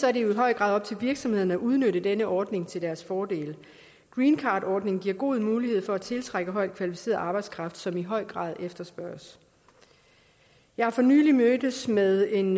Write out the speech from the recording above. er det jo i høj grad op til virksomhederne at udnytte denne ordning til deres fordel greencardordningen giver god mulighed for at tiltrække højt kvalificeret arbejdskraft som i høj grad efterspørges jeg har for nylig mødtes med en